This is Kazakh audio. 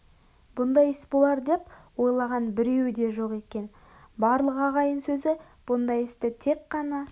бұндай іс болар деп ойлаған біреуі де жоқ екен барлық ағайын сөзі бұндай істі тек қана